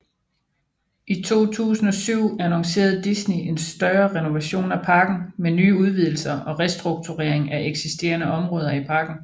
I 2007 annoncerede Disney en større renovation af parken med nye udvidelser og restrukturering af eksisterende områder i parken